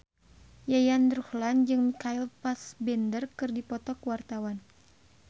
Yayan Ruhlan jeung Michael Fassbender keur dipoto ku wartawan